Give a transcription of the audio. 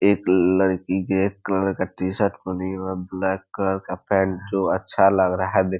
एक लड़की के एक कलर का टी-शर्ट पहनी है ब्लैक कलर का पेंट जो अच्छा लग रहा है देख --